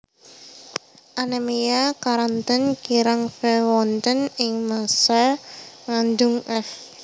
Anemia keranten kirang Fe wonten ing massa ngandhung f